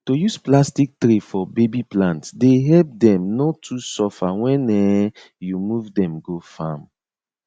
to use plastic tray for baby plants dey help them no too suffer when um you move them go farm